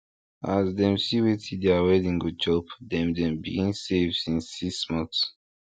as dem see wetin deir wedding go chop dem dem begin save since six months